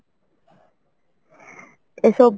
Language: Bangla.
এসব,